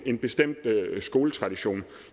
en bestemt skoletradition